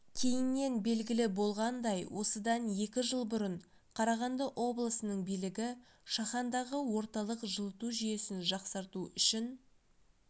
кейіннен белгілі болғандай осыдан екі жыл бұрын қарағанды облысының билігі шахандағы орталық жылыту жүйесін жақсарту үшін